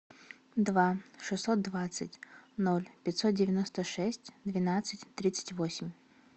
два шестьсот двадцать ноль пятьсот девяносто шесть двенадцать тридцать восемь